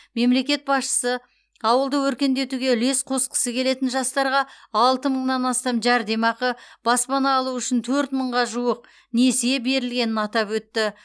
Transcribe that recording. мемлекет басшысы ауылды өркендетуге үлес қосқысы келетін жастарға алты мыңнан астам жәрдемақы баспана алу үшін төрт мыңға жуық несие берілгенін атап өтті